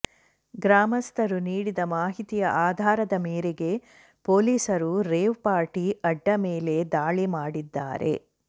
ಗ್ರಾಮಸ್ಥರು ನೀಡಿದ ಮಾಹಿತಿಯ ಆಧಾರದ ಮೇರೆಗೆ ಪೊಲೀಸರು ರೇವ್ ಪಾರ್ಟಿ ಅಡ್ಡೆ ಮೇಲೆ ದಾಳಿ ಮಾಡಿದ್ದಾರೆ